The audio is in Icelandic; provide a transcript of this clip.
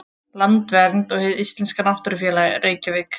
Landvernd og Hið íslenska náttúrufræðifélag, Reykjavík.